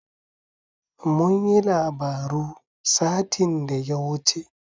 Mun yi labaru satin da ya wuce.